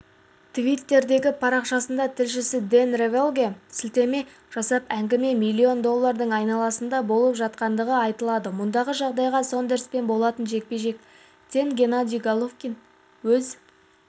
твиттердегі парақшасында тілшісі дэн рафаэльге сілтеме жасап әңгіме миллион доллардың айналасында болып жатқандығы айтылады мұндай жағдайда сондерспен болатын жекпе-жектен головкин өз